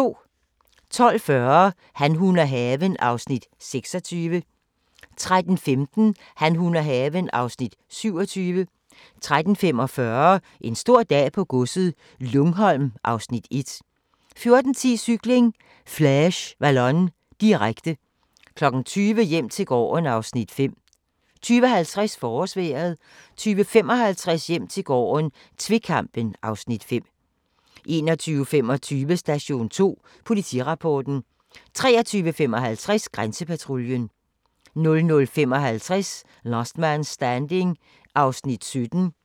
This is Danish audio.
12:40: Han, hun og haven (Afs. 26) 13:15: Han, hun og haven (Afs. 27) 13:45: En stor dag på godset - Lungholm (Afs. 1) 14:10: Cykling: Flèche Wallonne, direkte 20:00: Hjem til gården (Afs. 5) 20:50: Forårsvejret 20:55: Hjem til gården - tvekampen (Afs. 5) 21:25: Station 2: Politirapporten 23:55: Grænsepatruljen 02:55: Last Man Standing (17:24)